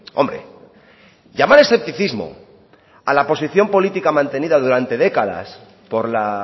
hombre llamar escepticismo a la posición política mantenida durante décadas por la